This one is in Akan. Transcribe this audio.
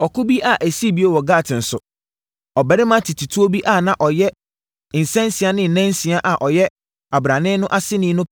Ɔko bi a ɛsii bio wɔ Gat nso, ɔbarima tetetuo bi a na ɔyɛ nsansia ne nansia a ɔyɛ abrane no aseni no